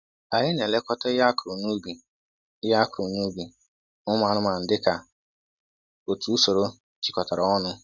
Anyị na-elekọta ihe akụrụ n'ubi ihe akụrụ n'ubi na ụmụ anụmanụ dịka otu usoro jikọtara ọnụ.